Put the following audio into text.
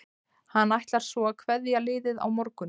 Hann ætlar svo að kveðja liðið á morgun.